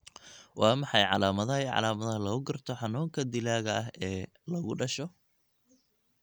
Waa maxay calamadaha iyo calaamadaha lagu garto xanuunka dilaaga ah ee lagu dhasho?